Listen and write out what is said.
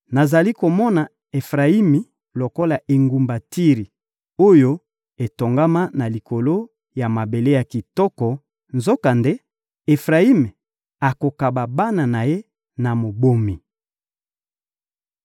Nazali komona Efrayimi lokola engumba Tiri oyo etongama na likolo ya mabele ya kitoko; nzokande, Efrayimi akokaba bana na ye na mobomi.